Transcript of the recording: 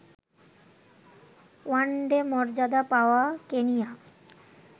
one day মর্যাদা পাওয়া Kenya